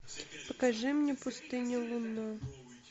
покажи мне пустыню лунную